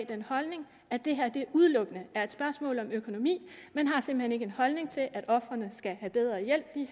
den holdning at det her udelukkende er et spørgsmål om økonomi man har simpelt hen ikke en holdning til at ofrene skal have bedre hjælp end